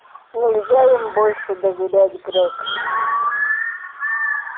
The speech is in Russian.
нельзя им больше доверять грег